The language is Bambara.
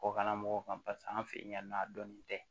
Kɔkana mɔgɔw kan paseke an fɛ yen nɔ a dɔnnen tɛ